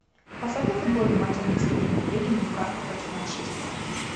поставь мне футбольный матч английской премьер лиги ньюкасла против манчестера